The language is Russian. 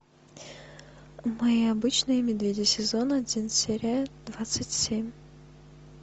мы обычные медведи сезон один серия двадцать семь